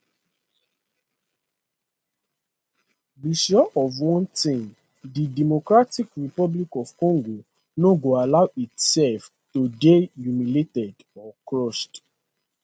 be sure of one thing di democratic republic of congo no go allow itself to dey humiliated or crushed